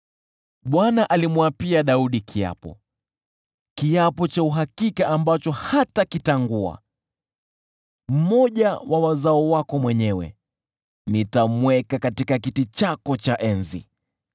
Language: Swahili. Bwana alimwapia Daudi kiapo, kiapo cha uhakika ambacho hatakitangua: “Nitamweka mmoja wa wazao wako mwenyewe katika kiti chako cha enzi,